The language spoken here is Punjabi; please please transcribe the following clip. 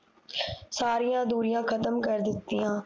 ਸਾਰੀਆਂ ਦੂਰੀਆਂ ਖਤਮ ਕਰ ਦਿੱਤੀਆਂ